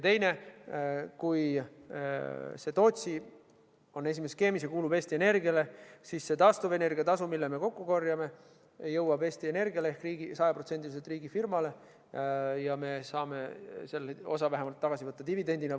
Teiseks, kui Tootsi on esimeses skeemis ja kuulub Eesti Energiale, siis see taastuvenergia tasu, mille me kokku korjame, jõuab Eesti Energiale ehk 100%-liselt riigifirmale ja me saame vähemalt osa tagasi võtta dividendidena.